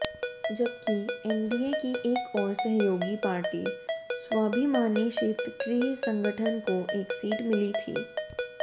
जबकि एनडीए की एक और सहयोगी पार्टी स्वाभिमानी शेतकरी संगठन को एक सीट मिली थी